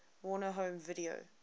warner home video